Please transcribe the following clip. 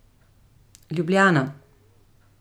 Ljubljana.